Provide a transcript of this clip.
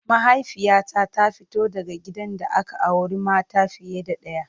Mahaifiyata ta fito daga gidan da aka auri mata fiye da ɗaya.